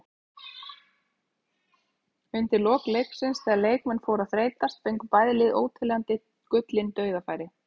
Undir lok leiksins þegar leikmenn fóru að þreytast fengu bæði lið óteljandi gullin dauðafæri.